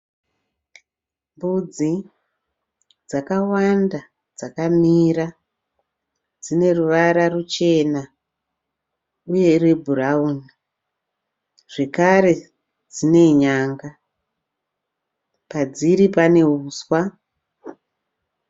Mbudzi dzakawanda dzakamira dzine ruvara ruchena uye rwebhurawuni zvekare dzine nyanga. Padziri pane huswa